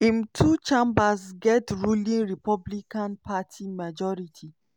im two chambers get ruling republican party majority.